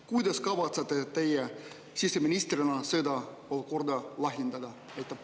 Kuidas kavatsete teie siseministrina seda olukorda lahendada?